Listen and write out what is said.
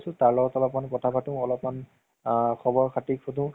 ধৰা বহুত মানুহৰ web series বোৰ । এনেই web series চোৱা ন নাই তুমি ?